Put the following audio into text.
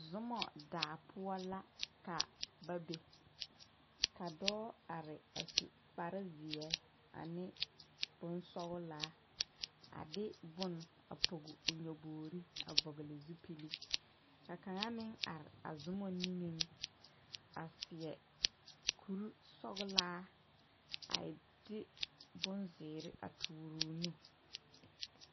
Zoma daa poɔ la ka ba be ka dɔɔ are a su kparezeɛ ane bonsɔglaa a de bone a pɔge o nyɔbogre a vɔgle zupili ka kaŋa meŋ are a zoma niŋeŋ a seɛ kurisɔglaa a de bonzeere a toore o nu.